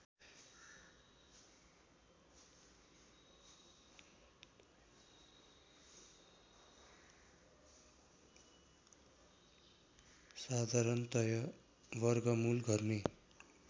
साधारणतया वर्गमूल गर्ने